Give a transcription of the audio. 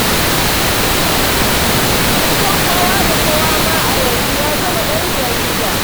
Kusan kowa da kowa ma a yanzu ya zama ɗan jarida.